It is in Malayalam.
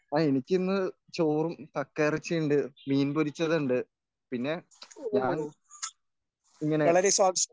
ആ എനിക്കിന്ന് ചോറും കക്കയിറച്ചിയുണ്ട് മീൻ പൊരിച്ചതുണ്ട് പിന്നെ ഞാൻ ഇങ്ങനെ